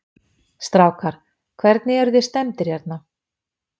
Strákar, hvernig, eruð þið stemmdir hérna?